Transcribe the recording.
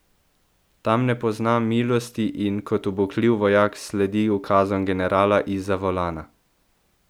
Tam ne pozna milosti in kot ubogljiv vojak sledi ukazom generala izza volana.